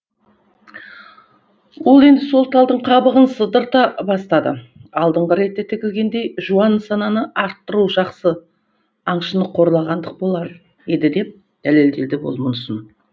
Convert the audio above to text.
ол енді сол талдың қабығын сыдыра бастады алдыңғы ретте тігілгендей жуан нысананы аттыру жақсы аңшыны қорлағандық болар еді деп дәлелдеді ол мұнысын